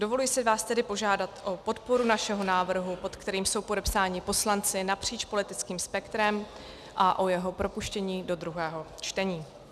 Dovoluji si vás tedy požádat o podporu našeho návrhu, pod kterým jsou podepsáni poslanci napříč politickým spektrem, a o jeho propuštění do druhého čtení.